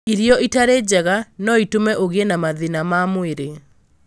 Irio itarĩ njega no itũme ũgĩe na mathĩna ma mwĩrĩ.